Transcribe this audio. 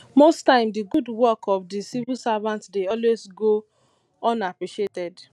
most times di good work of di civil servant dey always go unappreciated